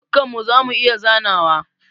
Dukkan mu zamu iya zanawa.